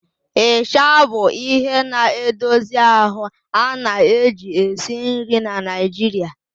Ịsha bụ ihe na-edozi ahụ a na-eji esi nri na Nigeria